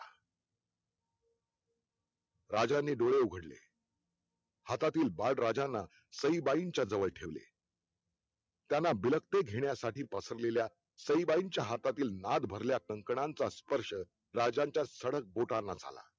राजाने डोळे उघडले हातातील बाळ राजांना सईबाईंच्या जवळ ठेवले त्यांला बिल्क्त घेण्यासाठी पसरलेल्या सईबाईंच्या हातातील नाद भरल्या काकणाचा स्पर्श राजाच्या ठणक बोटांना झाला